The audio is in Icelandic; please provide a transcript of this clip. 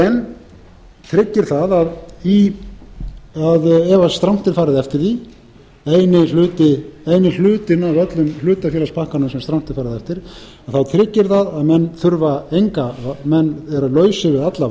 en tryggir það ef strangt er farið eftir því eini hlutinn af öllum hlutafélagspakkanum sem strangt er farið eftir að þá tryggir það að menn eru lausir við alla